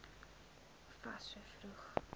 fas so vroeg